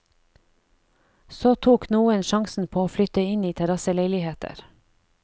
Så tok noen sjansen på å flytte inn i terrasseleiligheter.